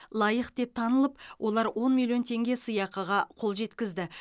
лайық деп танылып олар он миллион теңге сыйақыға қол жеткізді